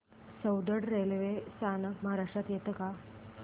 Soundad railway स्थानक महाराष्ट्रात येतं का